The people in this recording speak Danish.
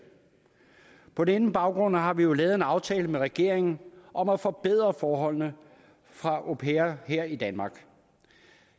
på denne baggrund har vi jo lavet en aftale med regeringen om at forbedre forholdene for au pairer her i danmark